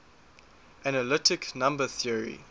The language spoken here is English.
analytic number theory